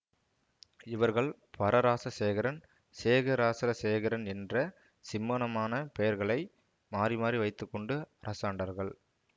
இவர்கள் பரராசசேகரன் செகரராசரசேகரன் என்ற சிம்மாசனப் பெயர்களை மாறிமாறி வைத்து கொண்டு அரசாண்டார்கள்